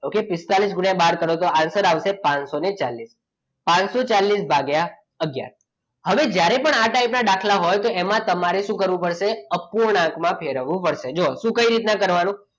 okay પિસ્તાદીસ ગુણ્યા બાર કરો તો answer આવશે પાનસોચાલીસ પાનસોચાલીસ ભાગ્ય આગયાર હવે જ્યારે પણ આ type ના દાખલા હોય તો એમાં તમારે શું કરવું પડશે અપૂર્ણાંકમાં ફેરવવું પડશે શું તો કઈ રીતના કરવાનું